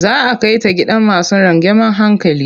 Za a kai ta gidan masu rangeamen hankali.